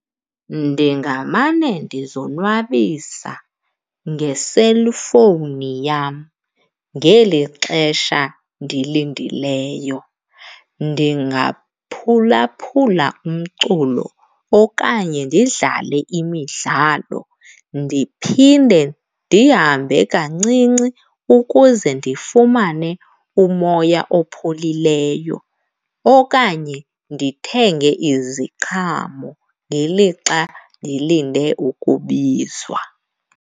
Ndingamane ndizonwabisa ngeselfowuni yam ngeli xesha ndilindileyo. Ndingaphulaphula umculo okanye ndidlale imidlalo ndiphinde ndihambe kancinci ukuze ndifumane umoya opholileyo okanye ndithenge iziqhamo ngelixa ndilinde ukubizwa.